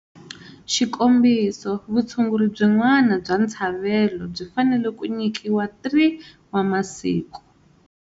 Xikombiso, vutshunguri byin'wana bya ntshavelo byi fanele ku nyikiwa 3 wa masiku.